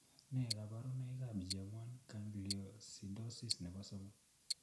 Nee kabarunoikab GM1 gangliosidosis nebo somok .